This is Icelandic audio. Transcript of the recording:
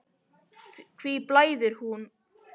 Hví blæðir kúm, Björn?